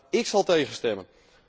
Maar ik zal tegen stemmen.